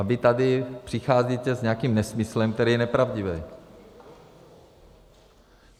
A vy tady přicházíte s nějakým nesmyslem, který je nepravdivý.